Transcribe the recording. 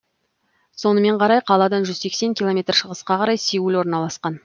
сонымен қарай қаладан жүз сексен километр шығысқа қарай сеул орналасқан